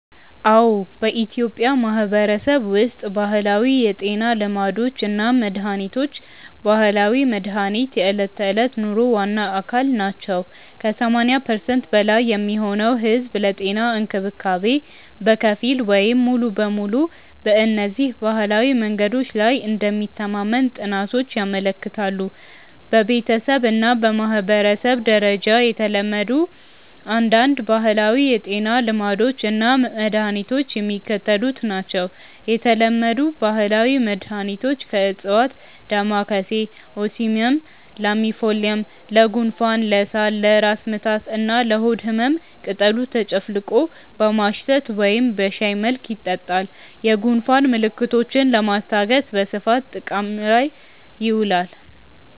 አዎ፣ በኢትዮጵያ ማህበረሰብ ውስጥ ባህላዊ የጤና ልማዶች እና መድሃኒቶች (ባህላዊ መድሃኒት) የዕለት ተዕለት ኑሮ ዋና አካል ናቸው። ከ80% በላይ የሚሆነው ህዝብ ለጤና እንክብካቤ በከፊል ወይም ሙሉ በሙሉ በእነዚህ ባህላዊ መንገዶች ላይ እንደሚተማመን ጥናቶች ያመለክታሉ። በቤተሰብ እና በማህበረሰብ ደረጃ የተለመዱ አንዳንድ ባህላዊ የጤና ልማዶች እና መድኃኒቶች የሚከተሉት ናቸው የተለመዱ ባህላዊ መድኃኒቶች (ከዕፅዋት) ደማካሴ (Ocimum lamiifolium): ለጉንፋን፣ ለሳል፣ ለራስ ምታት እና ለሆድ ህመም ቅጠሉ ተጨፍልቆ በማሽተት ወይም በሻይ መልክ ይጠጣል። የጉንፋን ምልክቶችን ለማስታገስ በስፋት ጥቅም ላይ ይውላል።